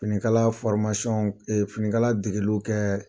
Finikala finikala degeli kɛ